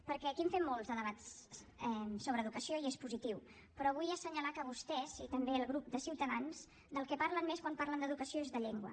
perquè aquí en fem molts de debats sobre educació i és positiu però vull assenyalar que vostès i també el grup de ciutadans del que parlen més quan parlen d’educació és de llengua